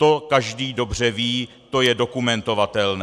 To každý dobře ví, to je dokumentovatelné.